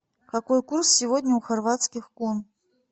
какой курс сегодня у хорватских кун